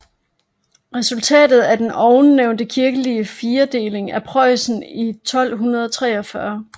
Resultatet blev den ovennævnte kirkelige firedeling af Preussen i 1243